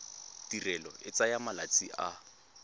tirelo e tsaya malatsi a